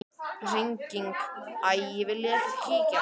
Hringing: Æi viljiði ekki kíkja?